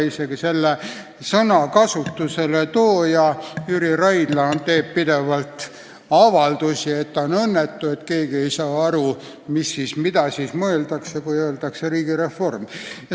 Isegi selle sõna kasutusele tooja Jüri Raidla teeb pidevalt avaldusi, et ta on õnnetu, et keegi ei saa aru, mida siis mõeldakse, kui öeldakse "riigireform".